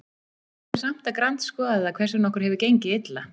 Við þurfum samt að grandskoða það hvers vegna okkur hefur gengið illa.